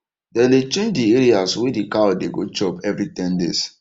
dem dey change the areas wey d cow dey go chop every ten days